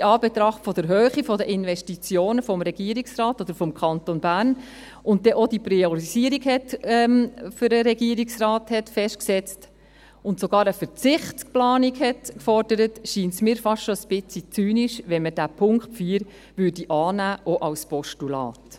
Und in Anbetracht der Höhe der Investitionen des Regierungsrates oder des Kantons Bern, und nachdem man auch die Priorisierung für den Regierungsrat festgesetzt hat und sogar eine Verzichtsplanung gefordert hat, scheint es mir fast schon ein bisschen zynisch, wenn man den Punkt 4 annehmen würde, auch als Postulat.